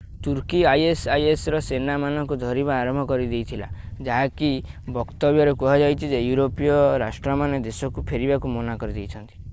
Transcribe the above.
ତୁର୍କୀ isis ର ସେନା ମାନଙ୍କୁ ଧରିବା ଆରମ୍ଭ କରିଦେଇଥିଲା ଯାହାକି ବକ୍ତବ୍ୟରେ କୁହାଯାଇଛି ଯେ ୟୁରୋପୀୟ ରାଷ୍ଟ୍ରମାନେ ଦେଶକୁ ଫେରିବାକୁ ମନା କରି ଦେଇଛନ୍ତି